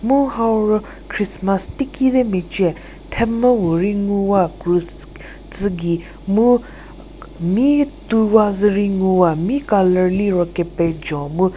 muo hau ro christmas teiki de meiche themvü puo ri nguwa krus tsugie muo mi tu wa zuri nguwa mi color liro kepezho mu --